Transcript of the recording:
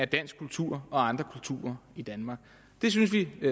dansk kultur og andre kulturer i danmark det synes vi i